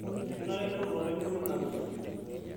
Kenare nemut olarikoni nabo